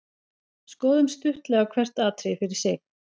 Skoðum stuttlega hvert atriði fyrir sig.